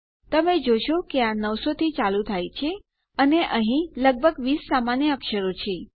તમે જોશો કે આ નવસો થી ચાલુ થાય છે અને અહીં લગભગ 20 સામાન્ય અક્ષરો છે